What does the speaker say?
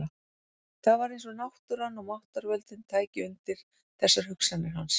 Það var eins og náttúran og máttarvöldin tækju undir þessar hugsanir hans.